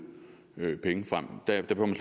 penge frem der behøver man